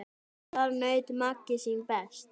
Þar naut Maggi sín best.